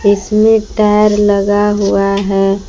इसमें टायर लगा हुआ है।